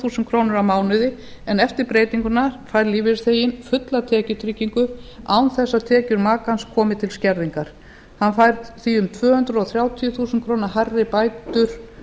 þúsund krónur á mánuði en eftir breytinguna fær lífeyrisþeginn fulla tekjutryggingu án þess að tekjur makans komi til skerðingar hann fær því um tvö hundruð þrjátíu þúsund krónum hærri bætur